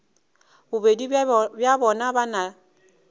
bobedi bja bona ba na